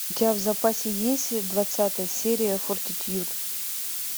у тебя в запасе есть двадцатая серия фортитьюд